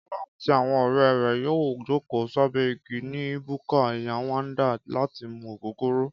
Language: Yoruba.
Kọ́lá àti àwọn ọ̀rẹ́ yóò jókòó sábẹ́ igi ni búkà Yéwándé láti mu ògógóró